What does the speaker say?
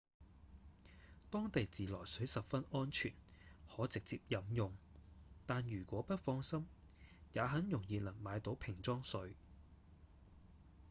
當地自來水十分安全可直接飲用但如果不放心也很容易能買到瓶裝水